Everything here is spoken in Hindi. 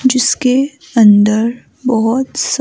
जिसके अंदर बहुत--